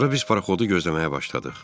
Sonra biz paraxodu gözləməyə başladıq.